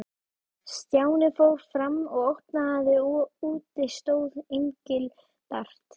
Stjáni fór fram og opnaði og úti stóð Engilbert.